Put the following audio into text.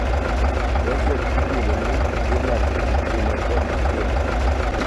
Projekt igeno ni dhi loko kit ngima joma tindo.